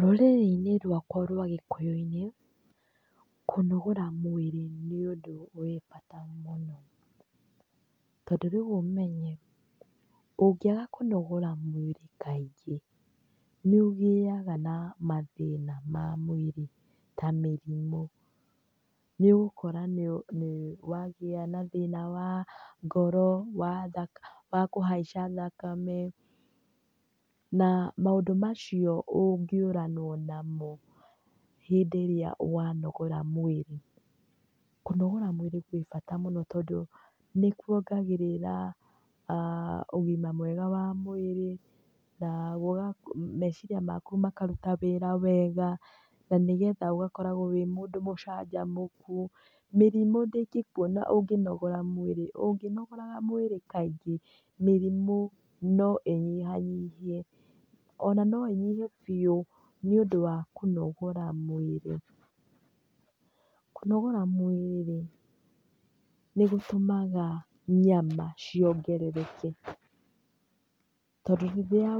Rũrĩrĩ-inĩ rwakwa rwa Gĩkũyũ-inĩ, kũnogora mwĩrĩ nĩũndũ wĩ bata mũno, tondũ rĩu ũmenye, ũngĩaga kũnogora mwĩrĩ kaingĩ, nĩũgĩaga na mathĩna ma mwĩrĩ ta mĩrimũ. Nĩũgũkora nĩwagĩa na thĩna wa ngoro, wa kũhaica thakame, na maũndũ macio ũngĩũranwo namo hĩndĩ ĩrĩa wanogora mwĩrĩ. Kũnogora mwĩrĩ gwĩbata mũno tondũ nĩkuongagĩrĩra ũgima mwega wa mwĩrĩ, na meciria maku makaruta wĩra wega, na nĩgetha ũgakoragwo wĩ mũndũ mũcanjamũku. Mĩrimũ ndĩngĩkuona ũngĩnogora mwĩrĩ, ũngĩnogoraga mwĩrĩ kaingĩ, mĩrimũ noĩnyihanyihe, ona noĩnyihe biũ nĩũndũ wa kũnogora mwĩrĩ. Kũnogora mwĩrĩ rĩ, nĩgũtũmaga nyama ciongerereka, tondũ rĩrĩa